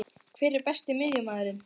Hver er Besti miðjumaðurinn?